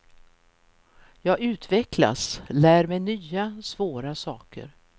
Jag utvecklas, lär mig nya svåra saker.